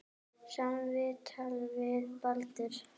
Sama viðtal við Baldur.